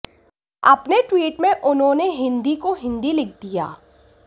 अपने ट्वीट में उन्होंने हिन्दी को हिन्दि लिख दिया